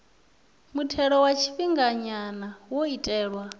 muthelo wa tshifhinganya wo itelwa